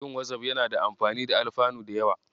Yin Wazaf yana da amfani da alfanu da yawa.